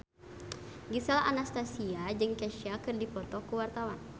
Gisel Anastasia jeung Kesha keur dipoto ku wartawan